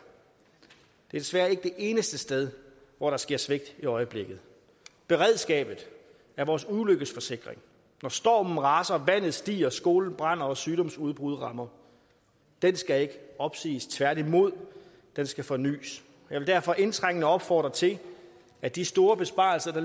desværre ikke det eneste sted hvor der sker svigt i øjeblikket beredskabet er vores ulykkesforsikring når stormen raser vandet stiger skolen brænder og sygdomsudbrud rammer den skal ikke opsiges tværtimod den skal fornys jeg vil derfor indtrængende opfordre til at de store besparelser